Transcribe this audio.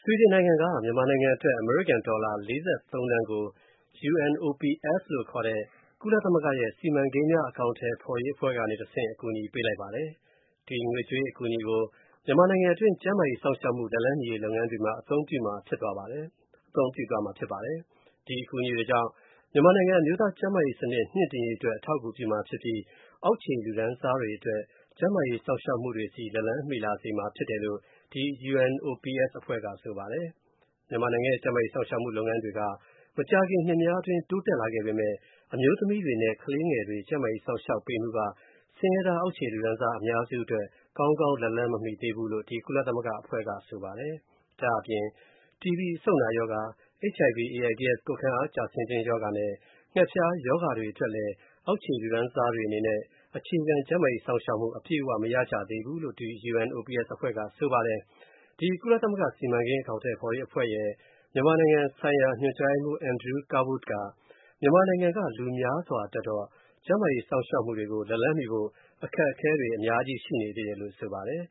ွီဒင် နိုင်ငံက မြန်မာနိုင်ငံအတွက် အမေရိကန်ဒေါ်လာ ၄၃ သန်းကို UNOPS (ခေါ်) ကုလသမဂ္ဂရဲ့ စီမံကိန်းအကောင်အထည်ဖော်ရေးအဖွဲ့က တဆင့် အကူအညီပေးလိုက်ပါတယ်။ ဒီငွေကြေးအကူအညီကို မြန်မာနိုင်ငံတွင်း ကျန်းမာရေး စောင့်ရှောက်မှု လက်လှမ်းမီရေး လုပ်ငန်းတွေ မှာ အသုံပြုမှာဖြစ်ပါတယ်။ ဒီအကူအညီတွေကြောင့် မြန်မာနိုင်ငံ အမျိုးသားကျန်းမာရေးစနစ် မြှင့်တင်ရေးအတွက် အထောက်အကူပြုမှာဖြစ်ပြီး အောက်ခြေလူတန်းစားတွေအတွက် ကျန်းမာရေး စောင့်ရှောက်မှုတွေ လက်လှမ်းမီလာစေမှာဖြစ်တယ်လို့ UNOPS အဖွဲ့က ဆိုပါတယ်။ မြန်မာနိုင်ငံရဲ့ ကျန်းမာရေးစောင့်ရှောက်မှုလုပ်ငန်းတွေက မကြာခင်နှစ်များအတွင်း တိုးတက်လာ ခဲ့ပေမယ့် အမျိုးသမီးတွေနဲ့ ကလေးငယ်တွေ ကျန်းမာရေးစောင့်ရှောက်ပေးမှုက ဆင်းရဲသား အောက်ခြေလူတန်းစား အများစုအတွက် ကောင်းကောင်း လက်လှမ်းမမီသေးဘူးလို့ ကုလသမဂ္ဂ အဖွဲ့က ထောက်ပြပါတယ်။ ဒါ့အပြင် TB အဆုတ်နာရောဂါ၊ HIV/AIDS ကိုယ်ခံအားကျဆင်းခြင်းရောဂါနဲ့ ငှက်ဖျားရောဂါတွေ အတွက်လည်း အောက်ခြေလူတန်းစားတွေ အနေနဲ့ အခြေခံ ကျန်းမာရေးစောင့်ရှောက်မှု အပြည့်အဝမရကြသေးဘူးလို့ UNOPS အဖွဲ့က ဆက်ပြောခဲ့ပါတယ်။ ကုလသမဂ္ဂ စီမံကိန်းအကောင်အထည်ဖော်ရေး အဖွဲရဲ့မြန်မာနိုင်ငံဆိုင်ရာ ညွှန်ကြားရေးမှူး Andrew Kirwood က မြန်မာနိုင်ငံက လူများစွာအတွက်တော့ ကျန်းမာရေးစောင့်ရှောက်မှုတွေကို လက်လှမ်းမီဖို့ အခက်အခဲတွေ ရှိနေပါတယ်လို့ ဆိုပါတယ်